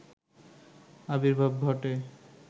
আর্বিভাব ঘটে